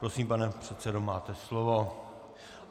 Prosím, pane předsedo, máte slovo.